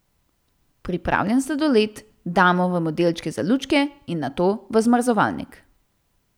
Pripravljen sladoled damo v modelčke za lučke in nato v zamrzovalnik.